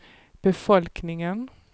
befolkningen